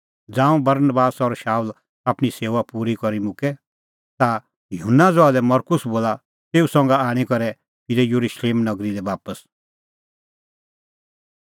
ज़ांऊं बरनबास और शाऊल आपणीं सेऊआ पूरी करी मुक्कै ता युहन्ना ज़हा लै मरकुस बोला तेऊ संघा आणी करै फिरै येरुशलेम नगरी लै बापस